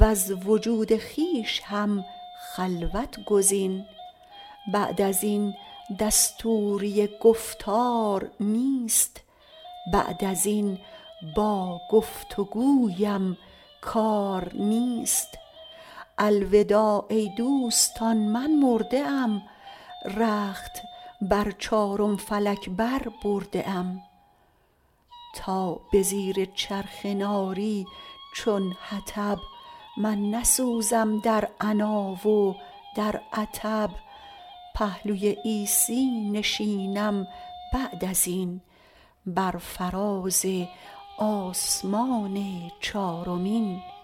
وز وجود خویش هم خلوت گزین بعد ازین دستوری گفتار نیست بعد ازین با گفت و گویم کار نیست الوداع ای دوستان من مرده ام رخت بر چارم فلک بر برده ام تا به زیر چرخ ناری چون حطب من نسوزم در عنا و در عطب پهلوی عیسی نشینم بعد ازین بر فراز آسمان چارمین